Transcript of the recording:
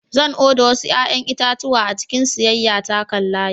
Zan oda wasu 'ƴa'ƴan itatuwa a cikin siyayya ta kan layi.